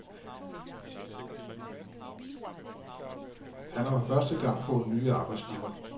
Han har for første gang har fået ny arbejdsgiver.